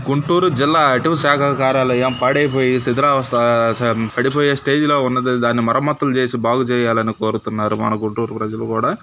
గుంటూరు జిల్లా అటవీశాఖ అధికారి కార్యాలయము పాడైపోయి శిథిలావస్థ పడిపోయే స్టేజ్ లో ఉంది దాన్ని మరమ్మత్తులు చేసి బాగు చేయాలని కోరుతున్నారు మన గుంటూరు ప్రజలు కూడా